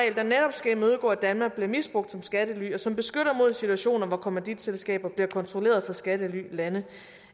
skal imødegå at danmark bliver misbrugt som skattely og som beskytter mod situationer hvor kommanditselskaber bliver kontrolleret fra skattelylande